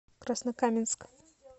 краснокаменск